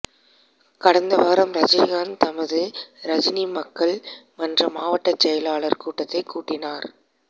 கடந்த வாரம் ரஜினிகாந்த் தமது ரஜினி மக்கள் மன்ற மாவட்ட செயலாளர்கள் கூட்டத்தை கூட்டினார்